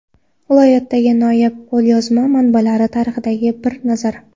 Viloyatdagi noyob qo‘lyozma manbalar tarixiga bir nazar.